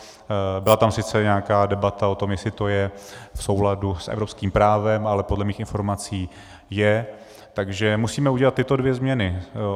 Byla tam sice nějaká debata o tom, jestli to je v souladu s evropským právem, ale podle mých informací je, takže musíme udělat tyto dvě změny.